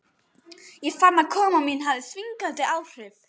Ég fann að koma mín hafði þvingandi áhrif.